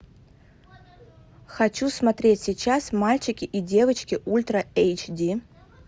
хочу смотреть сейчас мальчики и девочки ультра эйч ди